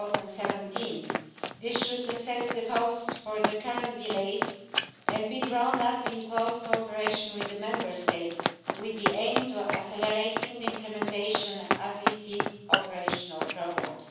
2017. This should assess the cause of the current delays, and it should be drawn up in close cooperation with the Member States, with the aim of accelerating the implementation of operational programmes.